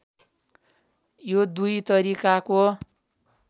यो दुई तरिकाको